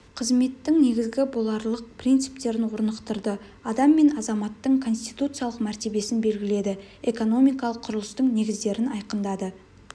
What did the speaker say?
қызметтің негізі боларлық принциптерін орнықтырды адам мен азаматтың конституциялық мәртебесін белгіледі экономикалық құрылыстың негіздерін айқындады